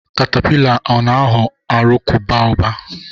caterpillar ọ na-aghọ urukurubụba?